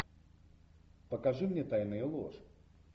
покажи мне тайны и ложь